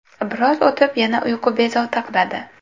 Biroz o‘tib, yana uyqu bezovta qiladi.